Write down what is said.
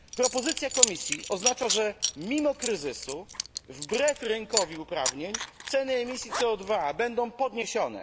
Propozycja Komisji oznacza, że mimo kryzysu i wbrew rynkowi uprawnień ceny emisji CO 2 będą podniesione.